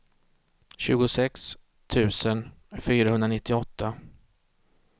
tjugosex tusen fyrahundranittioåtta